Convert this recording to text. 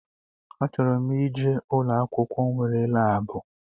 A chọrọ m ije ụlọ akwụkwọ nwere laabu